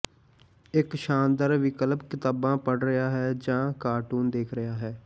ਇੱਕ ਸ਼ਾਨਦਾਰ ਵਿਕਲਪ ਕਿਤਾਬਾਂ ਪੜ ਰਿਹਾ ਹੈ ਜਾਂ ਕਾਰਟੂਨ ਦੇਖ ਰਿਹਾ ਹੈ